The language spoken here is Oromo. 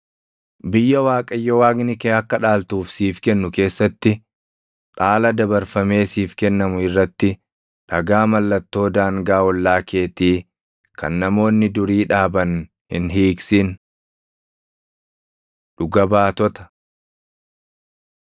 Biyya Waaqayyo Waaqni kee akka dhaaltuuf siif kennu keessatti dhaala dabarfamee siif kennamu irratti dhagaa mallattoo daangaa ollaa keetii kan namoonni durii dhaaban hin hiiqsin. Dhuga Baatota